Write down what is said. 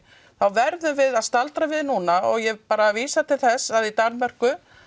þá verðum við að staldra við núna og ég vísa til þess að í Danmörku